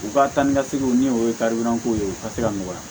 U ka taa ni ka seginw ni o ye karidanko ye u ka se ka nɔgɔya